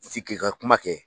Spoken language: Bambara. fi k'i ka kuma kɛ.